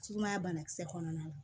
Sumaya bana kisɛ kɔnɔna na